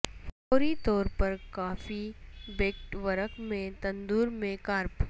فوری طور پر کافی بیکڈ ورق میں تندور میں کارپ